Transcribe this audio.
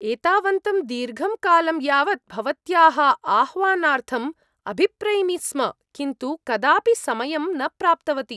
एतावन्तं दीर्घं कालं यावत् भवत्याः आह्वानार्थम् अभिप्रैमि स्म किन्तु कदापि समयं न प्राप्तवती।